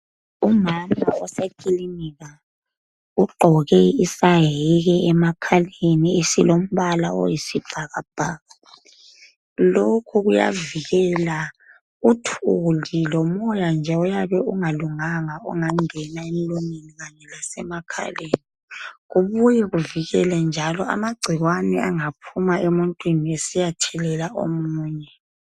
Umama usekilinika ugqoke isayeke emakhaleni esilombala oyisibhakabhaka. Lokhu kuyavikela uthuli lomoya nje oyabe ungalunganga ongangena emlonyeni kanye lasemakhaleni. kubuye kuvikele njalo amagcikwane angaphuma emuntwini esiyathelela omunye.